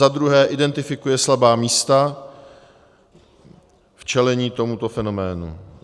za druhé identifikuje slabá místa v čelení tomuto fenoménu;